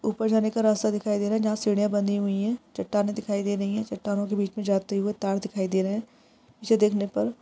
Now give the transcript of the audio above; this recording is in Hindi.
ऊपर एक रास्ता दिखाई दे रहा है जहां सीढिया बनी हुई है चटाने दिखाई दे रही है चट्टानों के बीच में जाते हुए तार दिखाई दे रहे है पीछे देख ने पर --